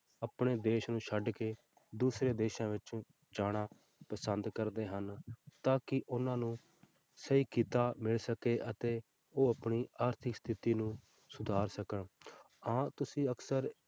ਆਪਣੇ ਦੇਸ ਨੂੰ ਛੱਡ ਕੇ ਦੂਸਰੇ ਦੇਸਾਂ ਵਿੱਚ ਜਾਣਾ ਪਸੰਦ ਕਰਦੇ ਹਨ, ਤਾਂ ਕਿ ਉਹਨਾਂ ਨੂੰ ਸਹੀ ਕਿੱਤਾ ਮਿਲ ਸਕੇ ਅਤੇ ਉਹ ਆਪਣੀ ਆਰਥਿਕ ਸਥਿੱਤੀ ਨੂੰ ਸੁਧਾਰ ਸਕਣ, ਹਾਂ ਤੁਸੀਂ ਅਕਸਰ